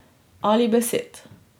Ali besed.